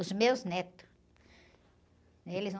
Os meus netos. É, eles não...